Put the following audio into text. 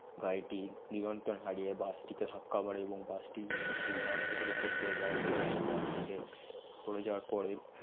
গারিটি নিয়ন্ত্রন হারিয়ে bus টিকে ধাক্কা মারে এবং বাস্তি একটি ধান খেতের অপর পরে যাই আবং ধান খেতে পরে জাওয়ার পরে